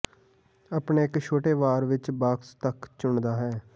ਅਤੇ ਇੱਕ ਛੋਟਾ ਵਾਰ ਵਿੱਚ ਬਾਕਸ ਤੱਕ ਚੁਣਦਾ ਹੈ